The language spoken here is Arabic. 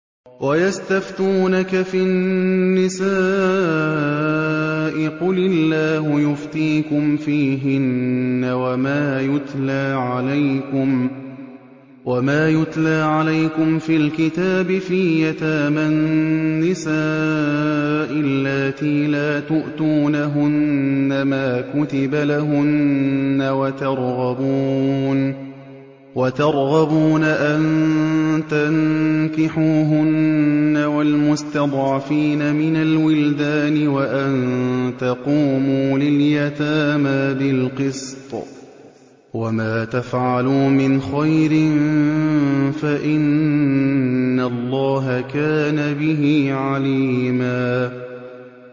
وَيَسْتَفْتُونَكَ فِي النِّسَاءِ ۖ قُلِ اللَّهُ يُفْتِيكُمْ فِيهِنَّ وَمَا يُتْلَىٰ عَلَيْكُمْ فِي الْكِتَابِ فِي يَتَامَى النِّسَاءِ اللَّاتِي لَا تُؤْتُونَهُنَّ مَا كُتِبَ لَهُنَّ وَتَرْغَبُونَ أَن تَنكِحُوهُنَّ وَالْمُسْتَضْعَفِينَ مِنَ الْوِلْدَانِ وَأَن تَقُومُوا لِلْيَتَامَىٰ بِالْقِسْطِ ۚ وَمَا تَفْعَلُوا مِنْ خَيْرٍ فَإِنَّ اللَّهَ كَانَ بِهِ عَلِيمًا